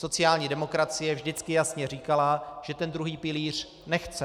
Sociální demokracie vždycky jasně říkala, že ten druhý pilíř nechce.